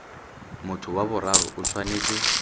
motho wa boraro o tshwanetse